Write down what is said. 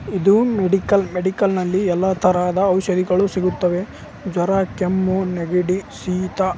ಇದು medical medical ನಲ್ಲಿ ಎಲ್ಲ ತರದ ಔಷಧಿಗಳು ಸಿಗುತ್ತದೆಜ್ವರ ಕೆಮ್ಮು ನೆಗಡಿ ಶಹಿತ--